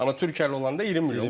Amma Türkiyəli olanda 20 milyon.